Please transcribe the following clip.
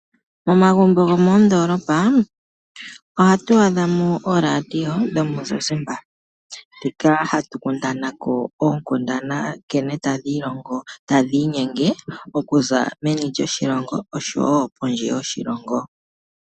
Momagumbo gomoondolopa ohatu adha mo ooradio dhomuzizimba ndhoka hatu kundana ko oonkundana nkene tadhi inyenge okuza meni lyoshilongo oshowoo kondje yoshilongo.